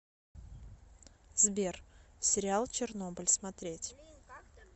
сбер сериал чернобыль смотреть